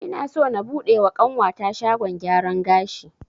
Ina so na buɗe wa ƙanwata shagon gyaran gashi